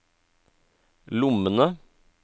lommene